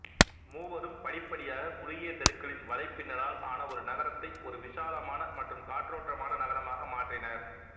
மூவரும் படிப்படியாக குறுகியத் தெருக்களின் வலைப்பின்னலால் ஆன ஒரு நகரத்தை ஒரு விசாலமான மற்றும் காற்றோட்டமான நகரமாக மாற்றினர்